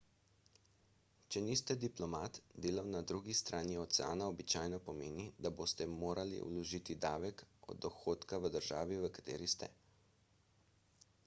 če niste diplomat delo na drugi strani oceana običajno pomeni da boste morali vložiti davek od dohodka v državi v kateri ste